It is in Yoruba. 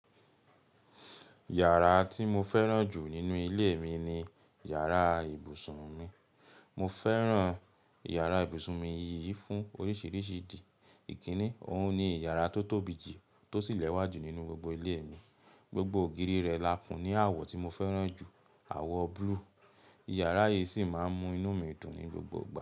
Yàrá tí mo fẹ́ràn jù nínú ilé mi ni yàrá ibùsùn mi. Mo fẹ́ràn yàrá ibùsùn mi yìí fún oríṣiríṣi ìdí. Ìkíni, òun ni yàrá tó tóbi jù, tó sì lẹ́wà jù nínú gbogbo ilé mi. Gbogbo ògiri rẹ̀ lakun ní àwọ̀ tí mo fẹ́ràn jù, àwọ̀ blue. Yàrá yìí sì máa ń mú inú mi dùn ní gbogbo ìgbà.